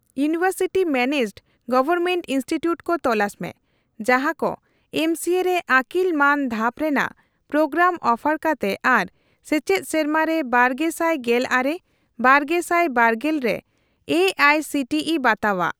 University managed government institute ᱠᱚ ᱛᱚᱞᱟᱥ ᱢᱮ ᱡᱟᱦᱟᱠᱚ ᱮᱢᱥᱤᱮ ᱨᱮ ᱟᱹᱠᱤᱞ ᱢᱟᱱ ᱫᱷᱟᱯ ᱨᱮᱱᱟᱜ ᱯᱨᱳᱜᱨᱟᱢ ᱚᱯᱷᱟᱨ ᱠᱟᱛᱮ ᱟᱨ ᱥᱮᱪᱮᱫ ᱥᱮᱨᱢᱟᱨᱮ ᱵᱟᱨᱜᱮᱥᱟᱭ ᱜᱮᱞ ᱟᱨᱮ ᱼᱵᱟᱨᱜᱮᱥᱟᱭ ᱵᱟᱨᱜᱮᱞ ᱨᱮ A I C T E ᱵᱟᱛᱟᱣᱟᱜ ᱾